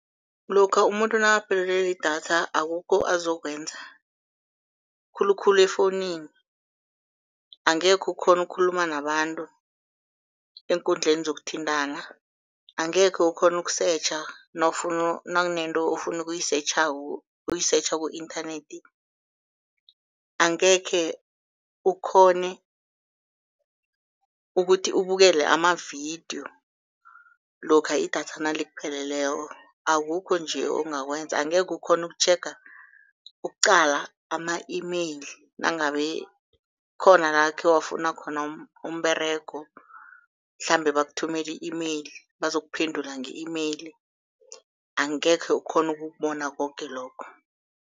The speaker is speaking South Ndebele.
Lokha umuntu nakaphelelwe lidatha akukho azokwenza khulukhulu efowunini. Angekhe ukghone ukukhuluma nabantu eenkundleni zokuthintana, angekhe ukhona ukusetjha nakunento ofuna ukuyisetjhako ukuyisetjha ku-internet, angekhe ukghone ukuthi ubukele amavidiyo lokha idatha nalikupheleleko, akukho nje ongakwenza. Angeke ukghone ukutjhega, ukuqala ama-e-mail nangabe khona la khewafuna khona umberego, mhlambe bakuthumele i-e-mail, bazokuphendula nge-e-mail, angekhe ukghone ukubona koke lokho.